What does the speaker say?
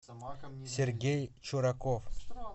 сергей чураков